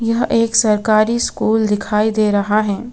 यह एक सरकारी स्कूल दिखाई दे रहा है.